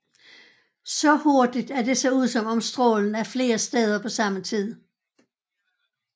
Så hurtigt at det ser ud som om at strålen er flere steder på samme tid